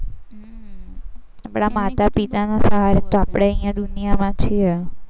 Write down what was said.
આપણા માતા પિતાને સહારે આપણે અહીં દુનિયામાં છીએ.